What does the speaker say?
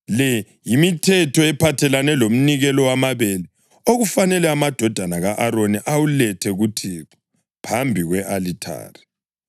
“ ‘Le yimithetho ephathelene lomnikelo wamabele okufanele amadodana ka-Aroni awulethe kuThixo, phambi kwe-alithari.